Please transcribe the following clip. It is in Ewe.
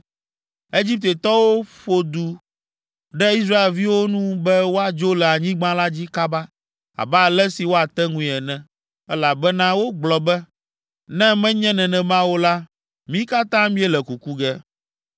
Egiptetɔwo ƒo du ɖe Israelviwo nu be woadzo le anyigba la dzi kaba, abe ale si woate ŋui ene, elabena wogblɔ be, “Ne menye nenema o la, mí katã míele kuku ge.”